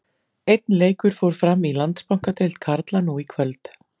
Einn leikur fór fram í Landsbankadeild karla nú í kvöld.